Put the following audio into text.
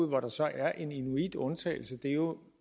hvor der så er en inuitundtagelse jo